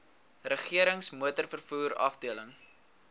regerings motorvervoer afdeling